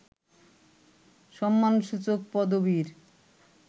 সম্মানসূচক পদবীর